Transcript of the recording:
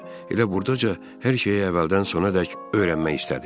O, elə buradaca hər şeyi əvvəldən sona qədər öyrənmək istədi.